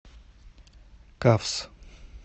кафс